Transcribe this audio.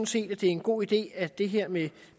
set at det er en god idé at det her med